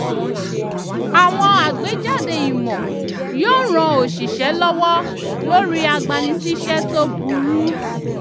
àwọn àgbéjáde ìmò yóò ran oṣìṣẹ́ lọwọ lórí agbani-síṣẹ́ tó burú